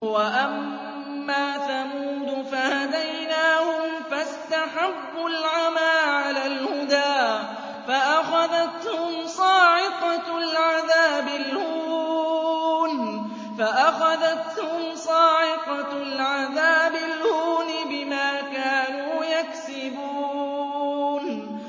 وَأَمَّا ثَمُودُ فَهَدَيْنَاهُمْ فَاسْتَحَبُّوا الْعَمَىٰ عَلَى الْهُدَىٰ فَأَخَذَتْهُمْ صَاعِقَةُ الْعَذَابِ الْهُونِ بِمَا كَانُوا يَكْسِبُونَ